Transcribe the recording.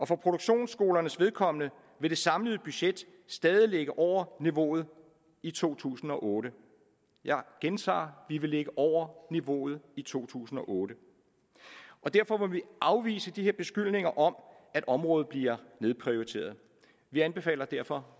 for produktionsskolernes vedkommende vil det samlede budget stadig ligge over niveauet i to tusind og otte jeg gentager vi vil ligge over niveauet i to tusind og otte og derfor må vi afvise de her beskyldninger om at området bliver nedprioriteret vi anbefaler derfor